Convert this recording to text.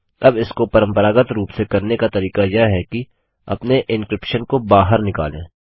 अब इसको परम्परागत रूप से करने का तरीका यह है कि अपने एन्क्रिप्शन को बहार निकालें